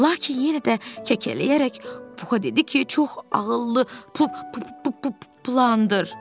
Lakin yenə də kəkələyərək Puxa dedi ki, çox ağıllı pu pu pu plandır.